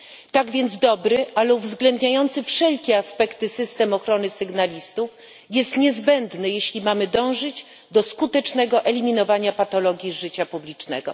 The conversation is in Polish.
Tak więc dobry, ale uwzględniający wszelkie aspekty system ochrony sygnalistów jest niezbędny, jeśli mamy dążyć do skutecznego eliminowania patologii życia publicznego.